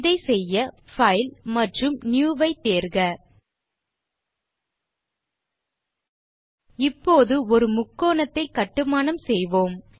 இதை செய்ய பைல் மற்றும் நியூ ஐ தேர்க இப்போது ஒரு முக்கோணத்தை கட்டுமானம் செய்வோம்